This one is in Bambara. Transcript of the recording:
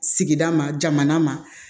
Sigida ma jamana ma